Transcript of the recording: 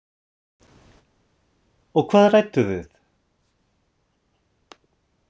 Og hvað rædduð þið?